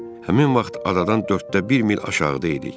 Həmin vaxt adadan dörddə bir mil aşağıdaydıq.